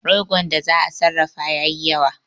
Rogon da za'a sarrafa ya yi yawa